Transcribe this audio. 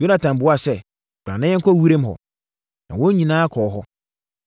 Yonatan buaa sɛ, “Bra na yɛnkɔ wiram hɔ.” Na wɔn nyinaa kɔɔ hɔ.